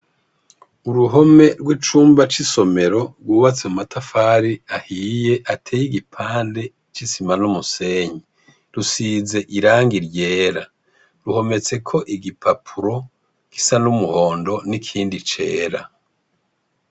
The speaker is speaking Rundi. Uruhome rw'icumba c'isomero rwubatse mu matafari ahiye ateye igipande c'isima n'umusenyi. Rusize irangi ryera, ruhometseko igipapuro gisa n'umuhondo n'ikindi cera.